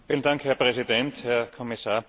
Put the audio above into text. Herr Präsident, Herr Kommissar!